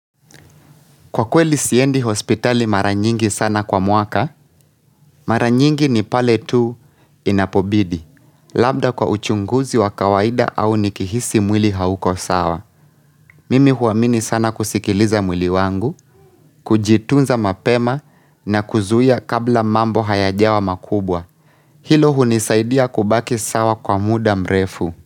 Kwa kweli siendi hospitali mara nyingi sana kwa mwaka, mara nyingi ni pale tu inapobidi, labda kwa uchunguzi wa kawaida au nikihisi mwili hauko sawa. Mimi huamini sana kusikiliza mwili wangu, kujitunza mapema na kuzuia kabla mambo hayajawa makubwa. Hilo hunisaidia kubaki sawa kwa muda mrefu.